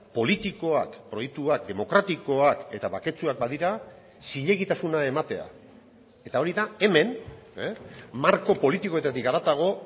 politikoak proiektuak demokratikoak eta baketsuak badira zilegitasuna ematea eta hori da hemen marko politikoetatik haratago